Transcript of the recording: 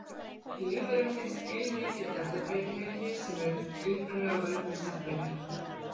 Í lífverum finnst heilmikill erfðabreytileiki sem er upprunalega af völdum stökkbreytinga.